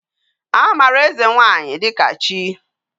Amara eze nwanyi dika chi